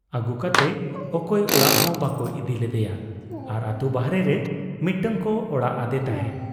ᱟᱹᱜᱩ ᱠᱟᱛᱮ ᱚᱠᱚᱭ ᱚᱲᱟᱜ ᱦᱚᱸ ᱵᱟᱠᱚ ᱤᱫᱤ ᱞᱮᱫᱭᱟ ᱟᱨ ᱟᱹᱛᱩ ᱵᱟᱦᱨᱮᱨᱮ ᱢᱤᱫᱴᱟᱝ ᱠᱚ ᱚᱲᱟᱜ ᱟᱫᱮ ᱛᱟᱦᱮᱸᱫ ᱾